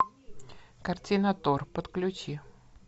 картина тор подключи